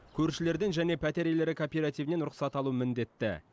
көршілерден және пәтер иелері кооперативінен рұқсат алу міндетті